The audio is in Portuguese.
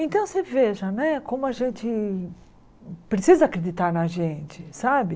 Então você veja né como a gente precisa acreditar na gente, sabe?